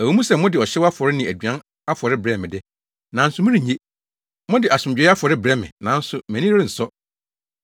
Ɛwɔ mu sɛ mode ɔhyew afɔre ne aduan afɔre brɛ me de, nanso merennye. Mode asomdwoe afɔre brɛ me nanso mʼani rensɔ.